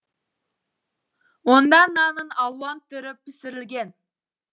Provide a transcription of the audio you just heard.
онда нанның алуан түрі пісірілген